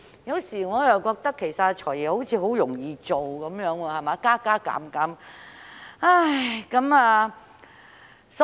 有時候，我覺得"財爺"也很易做，只做些加加減減便可以。